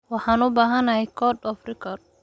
Waxaan u baahanahay code of record.